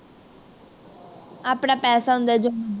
ਆਪਣਾ ਪੈਸਾ ਹੁੰਦਾ ਜੋ